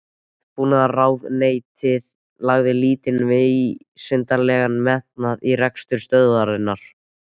Landbúnaðarráðuneytið lagði lítinn vísindalegan metnað í rekstur stöðvarinnar.